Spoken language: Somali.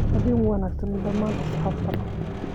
Habeen wanaagsan dhammaan asxaabta.